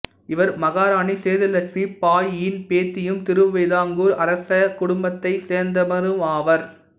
இவர் மகாராணி சேது லட்சுமி பாயியின் பேத்தியும் திருவிதாங்கூர் அரசக் குடும்பத்தைச் சேர்ந்தவருமாவார்